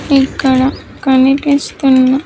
ఇక్కడ కనిపిస్తున్న--